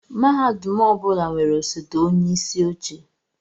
Mahadum ọ bụla nwere osote onyeisi oche